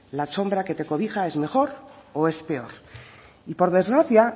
la sombra que te cobija es mejor o es peor y por desgracia